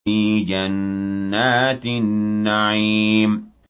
فِي جَنَّاتِ النَّعِيمِ